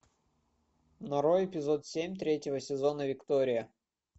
нарой эпизод семь третьего сезона виктория